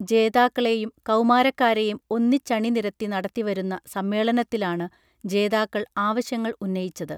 ജേതാക്കളെയും കൗമാരക്കാരെയും ഒന്നിച്ചണി നിരത്തി നടത്തി വരുന്ന സമ്മേളനത്തിലാണ് ജേതാക്കൾ ആവശ്യങ്ങൾ ഉന്നയിച്ചത്